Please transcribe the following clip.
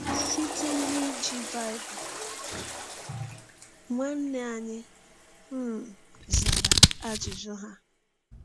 Site n’iji Baịbụl, nwanne anyị um zara ajụjụ ha.